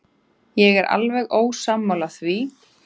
Ég er alveg ósammála því.